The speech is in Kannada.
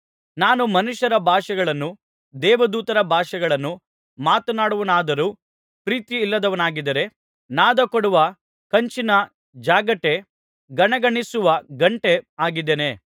ನಾನು ಮನುಷ್ಯರ ಭಾಷೆಗಳನ್ನೂ ದೇವದೂತರ ಭಾಷೆಗಳನ್ನೂ ಮಾತನಾಡುವವನಾದರೂ ಪ್ರೀತಿಯಿಲ್ಲದವನಾಗಿದ್ದರೆ ನಾದಕೊಡುವ ಕಂಚಿನ ಜಾಗಟೆ ಗಣಗಣಿಸುವ ಘಂಟೆ ಆಗಿದ್ದೇನೆ